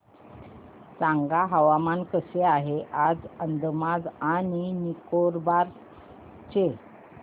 सांगा हवामान कसे आहे आज अंदमान आणि निकोबार चे